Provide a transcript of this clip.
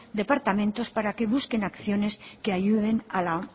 departamentos para que busquen acciones que ayuden a la